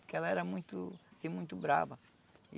Porque ela era muito, assim, muito brava.